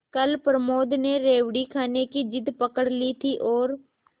कल प्रमोद ने रेवड़ी खाने की जिद पकड ली थी और